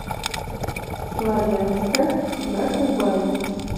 славянска на кубани